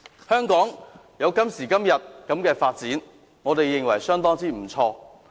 香港有今時今日的發展，我認為相當不錯。